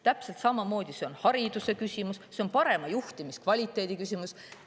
Täpselt samamoodi on see hariduse küsimus, parema juhtimiskvaliteedi küsimus.